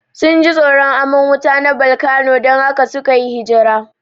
Sunji tsoron aman wuta na bolkano dan haka sukayi hifira